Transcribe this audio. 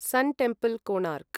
सन् temple, Konark